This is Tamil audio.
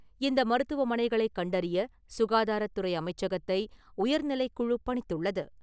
இந்த மருத்துவமனைகளைக் கண்டறிய சுகாதாரத்துறை அமைச்சகத்தை உயர்நிலைக்குழு பணித்துள்ளது.